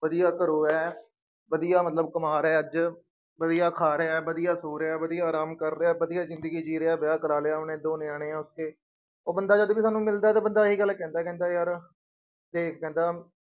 ਵਧੀਆ ਘਰੋਂ ਹੈ ਵਧੀਆ ਮਤਲਬ ਕਮਾ ਰਿਹਾ ਅੱਜ, ਵਧੀਆ ਖਾ ਰਿਹਾ ਹੈ, ਵਧੀਆ ਸੌ ਰਿਹਾ ਹੈ, ਵਧੀਆ ਆਰਾਮ ਕਰਦਾ ਹੈ, ਵਧੀਆ ਜ਼ਿੰਦਗੀ ਜੀ ਰਿਹਾ, ਵਿਆਹ ਕਰਵਾ ਲਿਆ ਉਹਨੇ, ਦੋ ਨਿਆਣੇ ਹੈ ਉਸ ਕੇ, ਉਹ ਬੰਦਾ ਜਦ ਵੀ ਸਾਨੂੰ ਮਿਲਦਾ ਹੈ ਤੇ ਬੰਦਾ ਇਹ ਗੱਲ ਕਹਿੰਦਾ ਹੈ ਕਹਿੰਦਾ ਯਾਰ ਤੇ ਕਹਿੰਦਾ